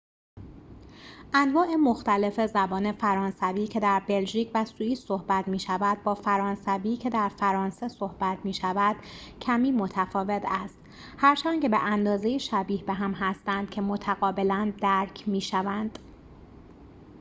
انواع مختلف زبان فرانسوی که در بلژیک و سوئیس صحبت می شود با فرانسوی که در فرانسه صحبت می شود کمی متفاوت است هرچند که به اندازه ‌ای شبیه به هم هستند که متقابلا درک می‌شوند